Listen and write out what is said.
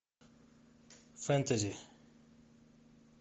фэнтези